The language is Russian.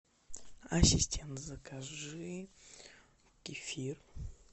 ассистент закажи кефир